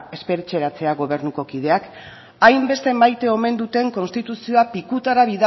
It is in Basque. espetxeratzea gobernuko kideak hainbeste maite omen duten konstituzioa pikutara